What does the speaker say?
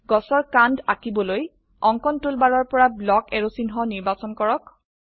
গছৰ কান্ড আঁকিবলৈ অঙ্কন টুলবাৰৰ পৰা ব্লক এৰাৱছ ব্লক এৰোচিহ্ন নিৰ্বাচন কৰক